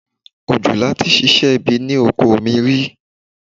Òjòlá tí ṣiṣẹ́ ibi ni oko mi rí.